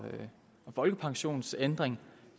folkepensionsændring